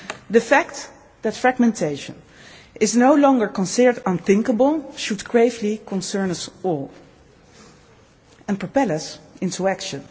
to act. The fact that fragmentation is no longer considered unthinkable should gravely concern us all and propel us into